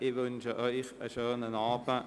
Ich wünsche Ihnen einen schönen Abend.